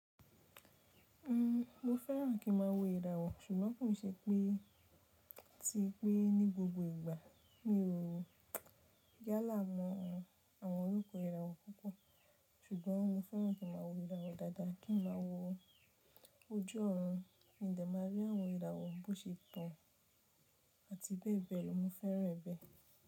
Mo fẹ́ràn kí n má a wo ìràwọ̀, ṣùgbọ́n kò ń ṣe pé tí pé ní gbogbo ìgbà. Mi ò yálà mọ àwọn orúkọ ìràwọ̀ púpọ̀, ṣùgbọ́n mo fẹ́ràn kí n má a wo ìràwọ̀ dáadáa, kí n má a wo ojú ọ̀run mo dẹ̀ máa rí àwọn ìràwọ̀ bó ṣe tán àti bẹ́ẹ̀ bẹ́ẹ̀ lọ mo fẹ́ràn ẹbẹ̀